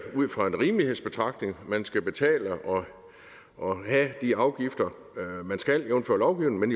ud fra en rimelighedsbetragtning at man skal betale og have de afgifter man skal jævnfør lovgivningen